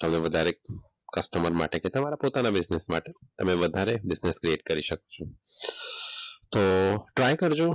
તમે વધારે કસ્ટમર માટે તમારા ફોટા માટે બિઝનેસ માટે તમે વધારે બિઝનેસ ક્રિએટ કરી શકો તો ટ્રાય કરજો.